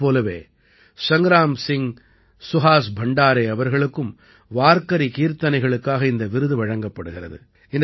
இதைப் போலவே சங்க்ராம் சிங் சுஹாஸ் பண்டாரே அவர்களுக்கும் வார்க்கரி கீர்த்தனைகளுக்காக இந்த விருது வழங்கப்படுகிறது